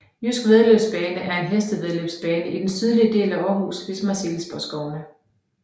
Jydsk Væddeløbsbane er en hestevæddeløbsbane i den sydlige del af Aarhus ved Marselisborgskovene